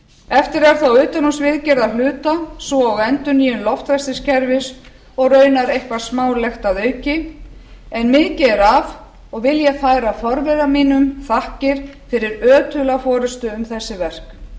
eftir er þá utanhússviðgerð að hluta svo og endurnýjun loftræstikerfis og raunar eitthvað smálegt að auki en mikið er af og vil ég færa forvera mínum þakkir fyrir ötula forustu um þessi